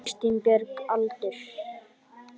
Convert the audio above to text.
Kristín Björg Aldur?